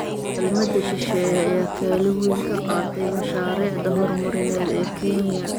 Kaalmada shisheeye ayaa kaalin weyn ka qaatay mashaariicda horumarineed ee Kenya.